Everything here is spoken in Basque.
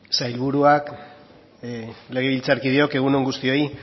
sailburuak legebiltzarkideok egun on guztioi